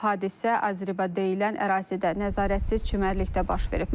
Hadisə Azriba deyilən ərazidə nəzarətsiz çimərlikdə baş verib.